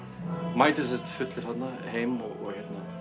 mæti sem sagt fullur heim og